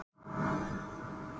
Þórveig, mun rigna í dag?